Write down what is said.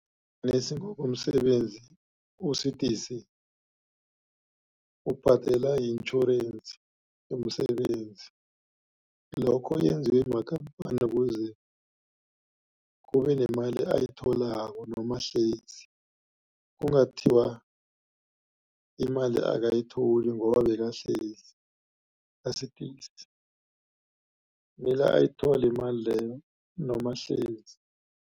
komsebenzi usidisi ubhadela yi-intjhorensi yomsebenzi. Lokho yenziwe makhamphani ukuze kubenemali ayitholako noma ahlezi. Kungathiwa imali akayitholi ngoba bekahlezi mele ayithole imali leyo noma ahlezi.